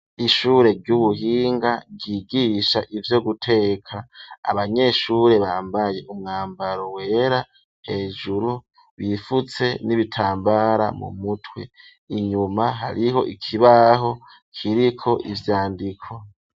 Ishure ry'ubuhinga ryigisha ivyo guteka abanyeshure bambaye umwambaro wera hejuru bifutse n'ibitambara mu mutwe inyuma hariho ikibaho kiriko ivyandiko